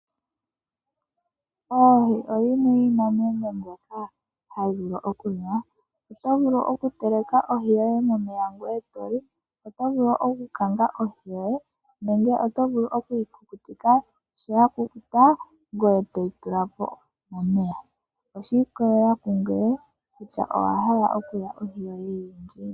Oohi oyimwe yomiinamwenyo mbyoka hayi liwa. Oto vulu okuteleka ohi yoye momeya e to li, oto vulu okukanga ohi yoye nenge oto vulu okuyi kukutika, shampa ya kukuta ngoye to yi tula po momeya. Oshi ikolelela kungoye kutya owa hala okulya ohi yoye yi li ngiini.